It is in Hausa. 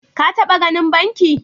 Ka taba ganin banki?